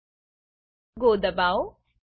go દબાવો